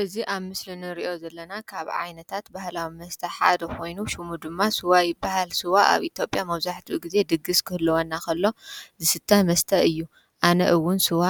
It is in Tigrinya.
እዚ ኣብ ምስሊ እንርእዮ ዘለና ካብ ዓይነታት ባህላዊ መስተ ሓደ ኾይኑ ሽሙ ድማ ስዋ ይብሃል። ስዋ ኣብ ኢትዮጵያ መብዛሕትኡ ግዜ ድግስ ክህልወና ኸሎ ዝስተ መስተ እዩ። ኣነ እዉን ስዋ